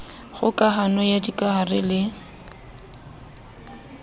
kgoka hano ya dikahare le